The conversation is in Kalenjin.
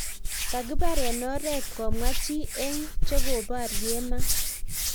kekibar eng oret komwaa chi eng chekobarie maat